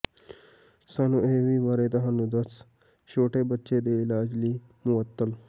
ਸਾਨੂੰ ਇਹ ਵੀ ਬਾਰੇ ਤੁਹਾਨੂੰ ਦੱਸ ਛੋਟੇ ਬੱਚੇ ਦੇ ਇਲਾਜ ਲਈ ਮੁਅੱਤਲ